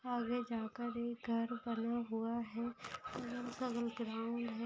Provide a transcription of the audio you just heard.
आगे जाकर एक घर बना हुआ है ग्राउंड है।